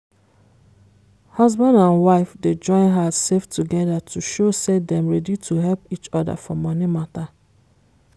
husband and wife dey join hand save together to show say dem ready to help each other for money matter.